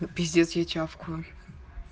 пиздец я чавкую